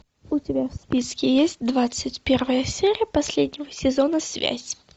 у тебя в списке есть двадцать первая серия последнего сезона связь